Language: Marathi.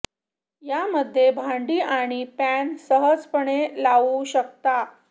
या मध्ये भांडी आणि पॅन सहजपणे लावू शकता